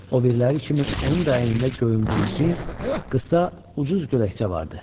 Obiriləri kimi onun da əynində göyümtül cins, qısa, ucuz gödəkçə vardı.